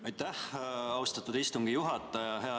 Aitäh, austatud istungi juhataja!